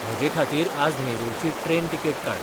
म्हजेखातीर आज नेरूलची ट्रेन तिकेट काड